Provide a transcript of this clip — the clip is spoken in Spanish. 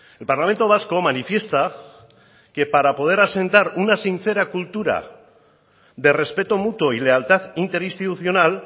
el parlamento vasco manifiesta que para poder asentar una sincera cultura de respeto mutuo y lealtad interinstitucional